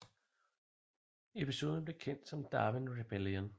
Episoden blev kendt som Darwin Rebellion